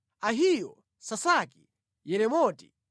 Ahiyo, Sasaki, Yeremoti,